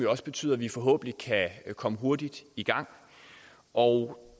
også betyder at vi forhåbentlig kan komme hurtigt i gang og